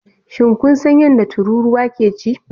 Shin kun san yadda tururuwa ke ci?